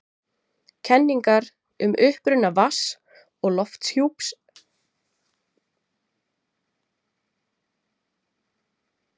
Kenningar um uppruna vatns- og lofthjúps jarðar eru nokkuð skiptar eins og um uppruna jarðar.